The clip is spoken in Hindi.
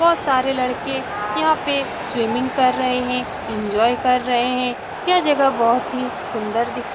बहुत सारे लड़के यहाँ पे स्विमिंग कर रहे हैं एन्जॉय कर रहे हैं यह जगह बहुत ही सुंदर दिख --